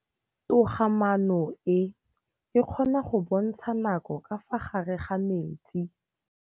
Toga-maanô e, e kgona go bontsha nakô ka fa gare ga metsi.